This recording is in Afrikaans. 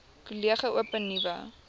kollege open nuwe